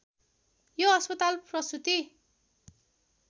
यो अस्पताल प्रसुती